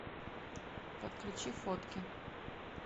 подключи фотки